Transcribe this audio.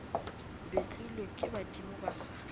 betlilwe ke badimo ba sa